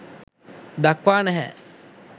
දක්වා නැහැ.